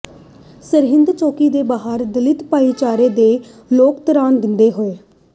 ਸਰਹਿੰਦ ਚੌਕੀ ਦੇ ਬਾਹਰ ਦਲਿਤ ਭਾਈਚਾਰੇ ਦੇ ਲੋਕ ਧਰਨਾ ਦਿੰਦੇ ਹੋਏ